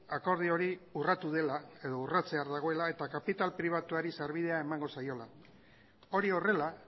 akordio hori urratu dela edo urratzear dagoela eta kapital pribatuari sarbidea emango zaiola hori horrela